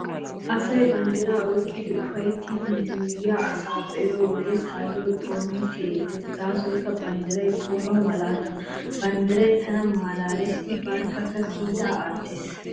Asay banddiraa oyqqidi ufayttiiddi yuuyyiyaa asa be'iyo wode taayyo xoonoy siyettees gaasoykka banddiray xoono malaata. Banddiray tana malaalees I barkka kiitaa aattees.